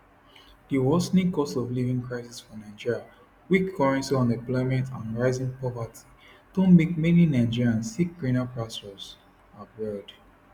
di worsening costofliving crisis for nigeria weak currency unemployment and rising poverty don make many nigerians seek greener pastures abroad